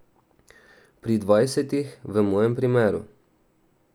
Pri dvajsetih v mojem primeru.